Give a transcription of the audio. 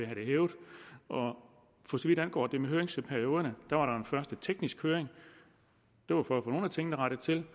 hævet for så vidt angår det med høringsperioderne var der først en teknisk høring det var for at få nogle af tingene rettet til